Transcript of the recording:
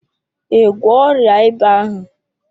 Ị gwọọ ọrịa ịba ahụ?